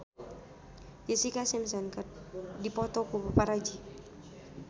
Jessica Simpson dipoto ku paparazi